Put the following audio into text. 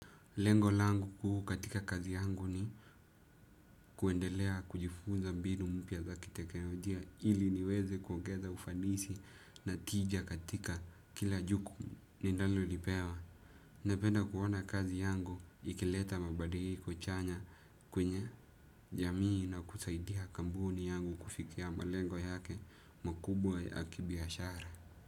Lengo langu kuu katika kazi yangu ni kuendelea kujifunza mbinu mpya za kitekenolijia ili niweze kuongeza ufanisi na tija katika kila jukum ninalolipewa. Napenda kuona kazi yangu ikileta mabadiliko chanya kwenye jamii na kusaidia kambuni yangu kufikia malengo yake mkubwa ya kibiashara.